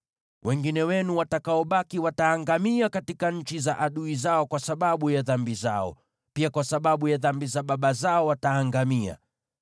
Wale wenu watakaobaki wataangamia katika nchi za adui zao kwa sababu ya dhambi zao; pia kwa sababu ya dhambi za baba zao wataangamia.